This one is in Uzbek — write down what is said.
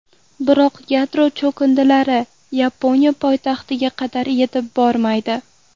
Biroq yadro cho‘kindilari Yaponiya poytaxtiga qadar yetib bormaydi.